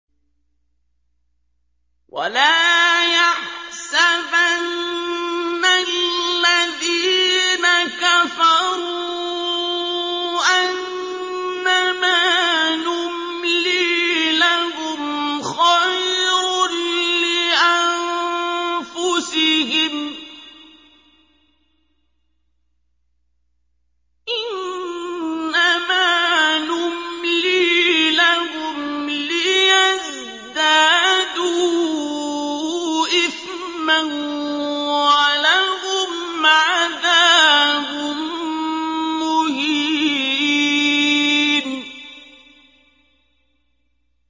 وَلَا يَحْسَبَنَّ الَّذِينَ كَفَرُوا أَنَّمَا نُمْلِي لَهُمْ خَيْرٌ لِّأَنفُسِهِمْ ۚ إِنَّمَا نُمْلِي لَهُمْ لِيَزْدَادُوا إِثْمًا ۚ وَلَهُمْ عَذَابٌ مُّهِينٌ